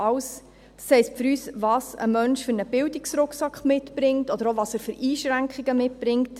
Das heisst für uns, welchen Bildungsrucksack ein Mensch mitbringt oder auch, welche Einschränkungen er mitbringt.